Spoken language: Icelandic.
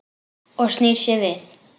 Og snýr sér við.